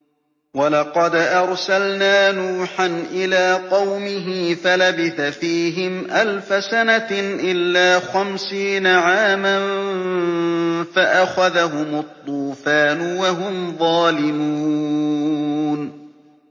وَلَقَدْ أَرْسَلْنَا نُوحًا إِلَىٰ قَوْمِهِ فَلَبِثَ فِيهِمْ أَلْفَ سَنَةٍ إِلَّا خَمْسِينَ عَامًا فَأَخَذَهُمُ الطُّوفَانُ وَهُمْ ظَالِمُونَ